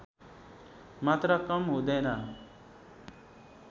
मात्रा कम हुँदैन